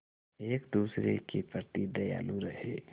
एक दूसरे के प्रति दयालु रहें